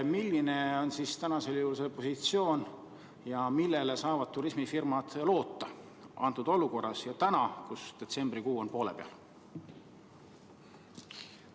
Milline on siis praegu see positsioon ja millele saavad turismifirmad loota antud olukorras ja täna, kui detsembrikuu on poole peal?